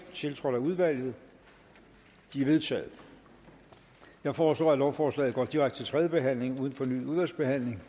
tiltrådt af udvalget de er vedtaget jeg foreslår at lovforslaget går direkte til tredje behandling uden fornyet udvalgsbehandling